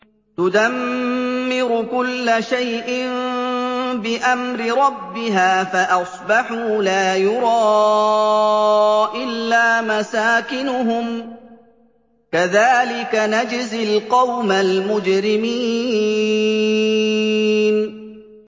تُدَمِّرُ كُلَّ شَيْءٍ بِأَمْرِ رَبِّهَا فَأَصْبَحُوا لَا يُرَىٰ إِلَّا مَسَاكِنُهُمْ ۚ كَذَٰلِكَ نَجْزِي الْقَوْمَ الْمُجْرِمِينَ